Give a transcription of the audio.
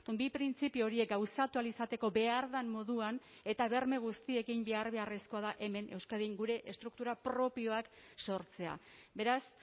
bi printzipio horiek gauzatu ahal izateko behar den moduan eta berme guztiekin behar beharrezkoa da hemen euskadin gure estruktura propioak sortzea beraz